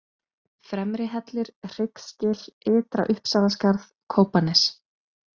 Fremrihellir, Hryggsgil, Ytra- Uppsalaskarð, Kópanes